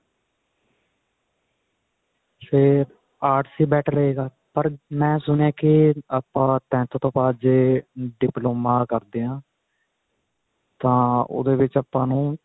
ਫੇਰ arts ਹੀ better ਰਹੇਗਾ ਪਰ ਮੈਂ ਸੁਣਿਆ ਕੇ ਆਪਾਂ tenth ਤੋਂ ਬਾਅਦ ਜੇ diploma ਕਰਦੇ ਹਾਂ ਤਾਂ ਉਹਦੇ ਵਿੱਚ ਆਪਾਂ ਨੂੰ